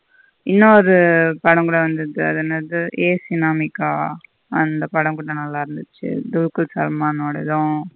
இன்னொரு படம் கூட வந்தது அது என்னது ஹே சினமிக்க அந்த படம் கூட நல்ல இருந்துச்சு. டுல்குர் சல்மான் ஓடாது.